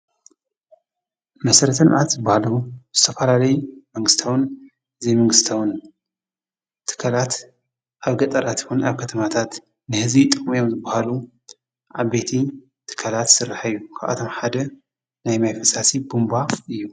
መሰረተ ልምዓት ዝበሃሉ ዝተፈላለዩ መንግስታውን ዘይመንግስታውን ትካላት ኣብ ገጠራት ይኹን ኣብ ከተማታት ንህዝቢ ይጠቅሙ እዮም ዝበሃሉ ዓበይቲ ትካላት ዝስራሕ እዩ። ካብኣቶም ሓደ ናይ ማይ ፈሳሲ ቡንቧ እዩ።